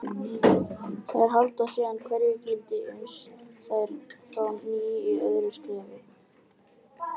Þær halda síðan hverju gildi uns þær fá ný í öðru skrefi.